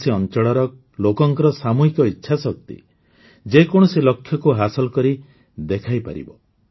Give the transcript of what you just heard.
କୌଣସି ଅଞ୍ଚଳର ଲୋକଙ୍କର ସାମୂହିକ ଇଚ୍ଛାଶକ୍ତି ଯେ କୌଣସି ଲକ୍ଷ୍ୟକୁ ହାସଲ କରି ଦେଖାଇପାରିବ